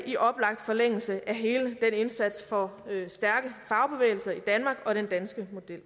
i oplagt forlængelse af hele den indsats for stærke fagbevægelser i danmark og den danske model